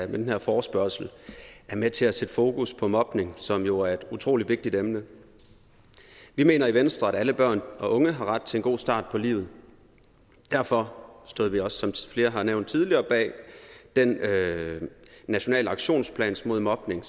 den her forespørgsel er med til at sætte fokus på mobning som jo er et utrolig vigtigt emne vi mener i venstre at alle børn og unge har ret til en god start på livet derfor stod vi også som flere har nævnt tidligere bag den nationale aktionsplan mod mobning